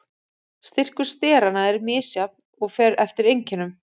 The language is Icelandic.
Styrkur steranna er misjafn og fer eftir einkennum.